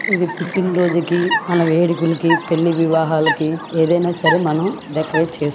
ఇది పుట్టిన రోజుకి మన వేడుకలకు పెళ్లి వివాహాలకి ఏదైనా సరే మనం డెకరేట్ చేసుకోవచ్చు.